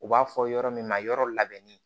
U b'a fɔ yɔrɔ min ma yɔrɔ labɛnni